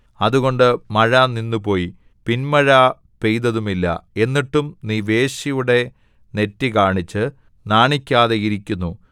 അതുകൊണ്ട് മഴ നിന്നുപോയി പിന്മഴ പെയ്തതുമില്ല എന്നിട്ടും നീ വേശ്യയുടെ നെറ്റി കാണിച്ച് നാണിക്കാതെയിരിക്കുന്നു